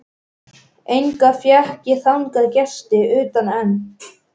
Enga fékk ég þangað gesti utan einn.